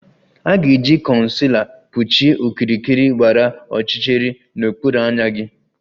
A ga-eji concealer kpuchie okirikiri gbara ọchịchịrị n'okpuru anya gị